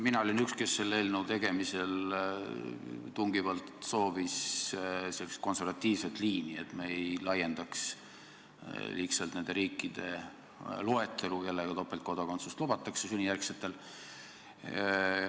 Mina olin üks, kes selle eelnõu tegemisel tungivalt soovis sellist konservatiivset liini, et me ei laiendaks liigselt nende riikide loetelu, kellega sünnijärgsetel kodanikel topeltkodakondsust lubatakse.